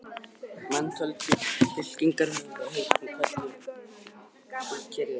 Menn tjölduðu, fylkingarnar höfðu í heitingum og kölluðu fúkyrði sín á milli.